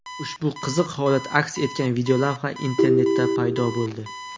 Ushbu qiziq holat aks etgan videolavha internetda paydo bo‘ldi.